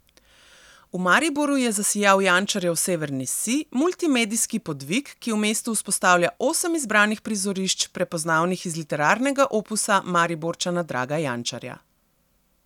V Mariboru je zasijal Jančarjev Severni sij, multimedijski podvig, ki v mestu vzpostavlja osem izbranih prizorišč, prepoznavnih iz literarnega opusa Mariborčana Draga Jančarja.